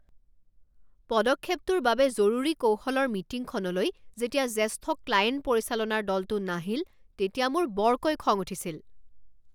পদক্ষেপটোৰ বাবে জৰুৰী কৌশলৰ মিটিংখনলৈ যেতিয়া জেষ্ঠ ক্লায়েণ্ট পৰিচালনাৰ দলটো নাহিল তেতিয়া মোৰ বৰকৈ খং উঠিছিল।